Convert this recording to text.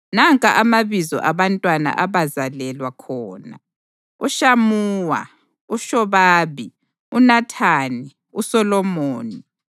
Nanka amabizo abantwana abazalelwa khona: uShamuwa, uShobabi, uNathani, uSolomoni,